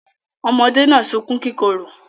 Ọmọdé náà sunkún kíkorò.